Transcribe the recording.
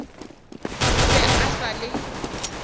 o be a sa le